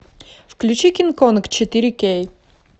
включи кинг конг четыре кей